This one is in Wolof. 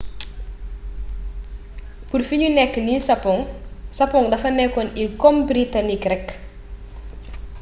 pur fi niu nek nii sapong.sapong defa nekon il kom britanik rek